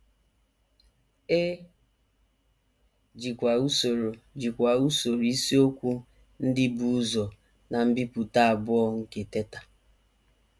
E jikwa usoro jikwa usoro isiokwu ndị bu ụzọ ná mbipụta abụọ nke Teta!